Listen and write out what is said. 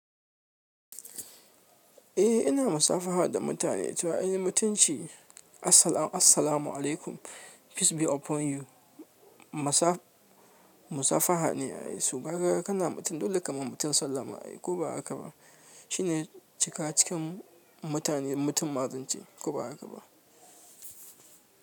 Eh ina musafaha da mutane. To any mutunci ne. Assalamu assalamu alaikum peace be upon you. Musafaha ne ai. Su kaga kana mutum dole kama mutum sallama ai ko ba haka ba. Shi ne cika cikin mutane mutum ma zance ko ba haka ba.